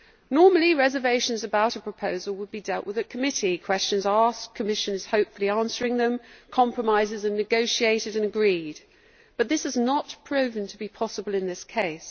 Normally reservations about a proposal would be dealt with at committee, with questions asked and Commissioners hopefully answering them, compromises negotiated and agreed but this has not proved possible in this case.